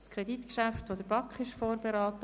Dieses Kreditgeschäft wurde von der BaK vorberaten.